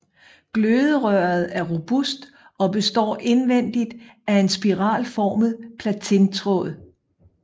Gløderøret er robust og består indvendigt af en spiralformet platintråd